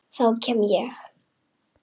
Þá kem ég